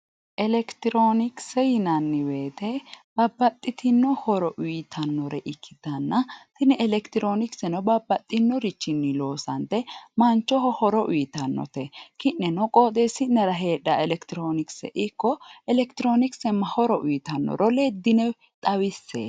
Electroonicse yinanni woyte babbaxitino horo uyitannore ikkitana tini electroonicseno babbaxxino richii loosanite manchoho horo uytannote ki'neno qooxesi'nera hedhawo electroonicse ikko electroonicse ma horo uyitannoro leddine xawisse